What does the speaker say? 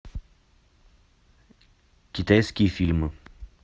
китайские фильмы